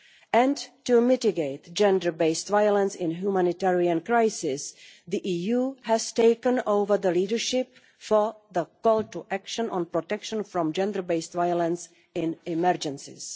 And, to mitigate gender-based violence in humanitarian crises, the EU has taken over the leadership for the call to action on protection from gender based violence in emergencies.